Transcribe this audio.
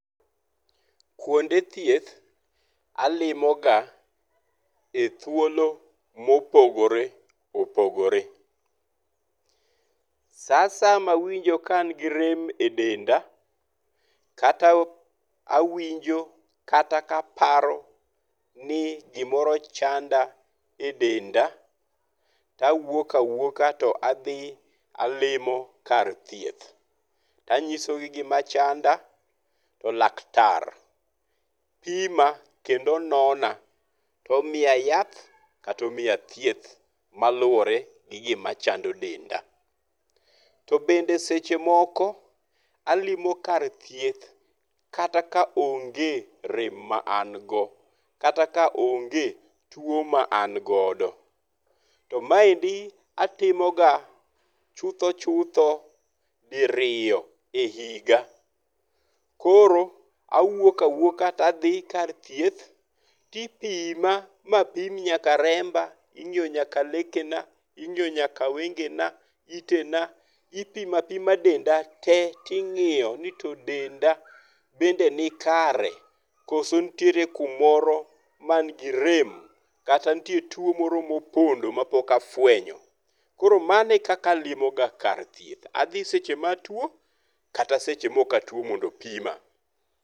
Kuonde thieth alimoga e thuolo mopogore opogore. Sa asaya mawinjo ka an gi rem e denda kata awinjo kata ka aparo ni gimoro chanda e denda to awuok awuoka to adhi alimo kar thieth. To anyiso gi gima chanda to laktar pima kendo nona to omiya yath kata omiya thieth maluwore gi gima chando denda. To bende seche moko alimo kar thieth kata ka onge rem ma an go kata ka onge tuo ma an godo. To maendi atimo ga chutho chutho di riyo e higa. Koro awuok awuoka to adhi kar thieth to ipima ma pim nyaka remba, ing'iyo nyaka leke na, ing'iyo nyaka wenge na, itena, ipimo apima denda te toing'iyo ni to denda bende ni kare koso nitie kumoro man gi rem kata nitie tuo moro mopondo mapok afuenyo. Koro mano e kaka alimo ga kar thieth. Adhi seche ma atuo kata seche ma ok atuo mondo opima.